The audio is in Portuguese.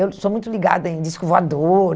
Eu sou muito ligada em disco voador.